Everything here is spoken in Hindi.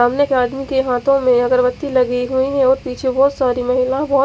सामने एक आदमी के हाथों में अगरबत्ती लगी हुई हैं और पीछे बहुत सारी महिला बहोत--